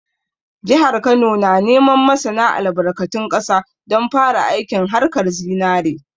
Jihar Kano na neman masana albarkatun ƙasa don fara aikin haƙar zinare